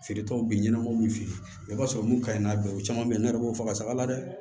Feeretaw bɛ ɲɛnabɔ min fɛ yen i b'a sɔrɔ mun ka ɲi nɔ bi u caman bɛ yen ne yɛrɛ b'o faga saga la dɛ